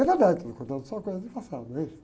É verdade, você não conta só coisa do passado, não é isso?